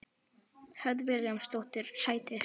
Hödd Vilhjálmsdóttir: Sætir?